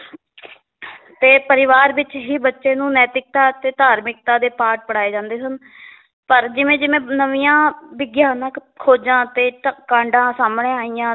ਤੇ ਪਰਿਵਾਰ ਵਿੱਚ ਹੀ ਬੱਚੇ ਨੂੰ ਨੈਤਿਕਤਾ ਅਤੇ ਧਾਰਮਿਕਤਾ ਦੇ ਪਾਠ ਪੜ੍ਹਾਏ ਜਾਂਦੇ ਸਨ ਪਰ ਜਿਵੇਂ ਜਿਵੇਂ ਨਵੀਆਂ ਵਿਗਿਆਨਕ ਖੋਜਾਂ ਅਤੇ ਤਾਂ ਕਾਂਡਾਂ ਸਾਹਮਣੇ ਆਈਆਂ